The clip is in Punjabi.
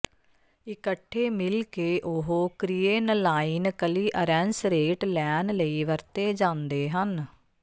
ਇਕੱਠੇ ਮਿਲ ਕੇ ਉਹ ਕ੍ਰੀਏਨਲਾਈਨ ਕਲੀਅਰੈਂਸ ਰੇਟ ਲੈਣ ਲਈ ਵਰਤੇ ਜਾਂਦੇ ਹਨ